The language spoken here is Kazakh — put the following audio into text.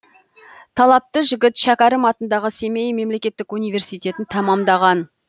талапты жігіт шәкәрім атындағы семей мемлекеттік университетін тәмамдаған